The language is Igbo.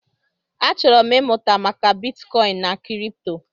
Achọrọ m ịmụta maka bitkọin na kripto.